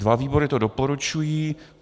Dva výbory to doporučují.